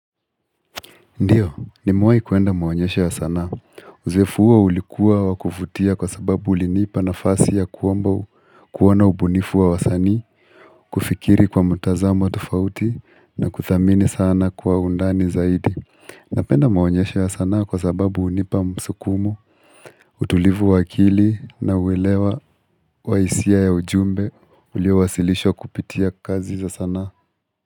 Ndiyo, nimewai kuenda maonyesho ya sanaa. Uzefu huo ulikuwa wakuvutia kwa sababu ulinipa nafasi ya kuomba kuwa na ubunifu wa wasani, kufikiri kwa mutazamo wa tofauti na kudhamini sana kwa undani zaidi. Napenda maonyesho ya sanaa kwa sababu hunipa msukumo, utulivu wa akili na uwelewa wa hisia ya ujumbe, uliowasilisho kupitia kazi za sana.